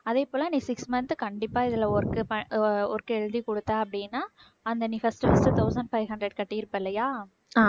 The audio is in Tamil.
அதே போல நீ six month கண்டிப்பா இதுல work பண்~ work எழுதி குடுத்த அப்படின்னா அந்த நீ first first thousand five hundred கட்டியிருப்பே இல்லையா